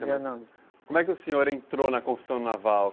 Como é que o senhor entrou na construção naval?